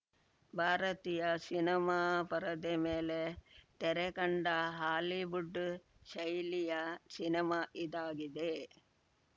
ಭಾರತೀಯ ಸಿನಿಮಾ ಪರದೆ ಮೇಲೆ ತೆರೆ ಕಂಡ ಹಾಲಿವುಡ್‌ ಶೈಲಿಯ ಸಿನಿಮಾ ಇದಾಗಿದೆ